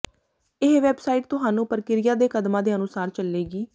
ਇਹ ਵੈਬਸਾਈਟ ਤੁਹਾਨੂੰ ਪ੍ਰਕਿਰਿਆ ਦੇ ਕਦਮਾਂ ਦੇ ਅਨੁਸਾਰ ਚੱਲੇਗੀ